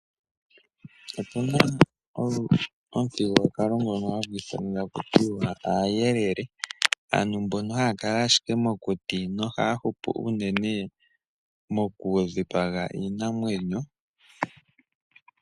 Opuna gomuthigululwakalo ngono hagu ithanwa taku tiwa aayelele. Aantu mbono haya kala ashike mokuti, nohaya hupu unene moku dhikpaga iinamwenyo.